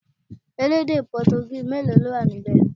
Elédè Potogí mélòó ló wà níbẹ̀?